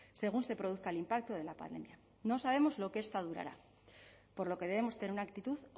según se produzca el impacto de la pandemia no sabemos lo que esta durará por lo que debemos tener una actitud